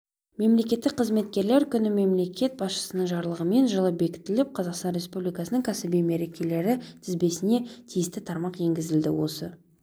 мемлекеттік қызметкерлер күнімемлекет басшысының жарлығымен жылы бекітіліп қазақстан республикасының кәсіби мерекелері тізбесіне тиісті тармақ енгізілді осы